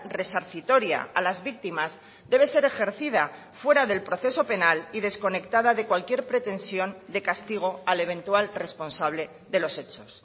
resarcitoria a las víctimas debe ser ejercida fuera del proceso penal y desconectada de cualquier pretensión de castigo al eventual responsable de los hechos